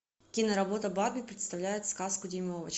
киноработа барби представляет сказку дюймовочка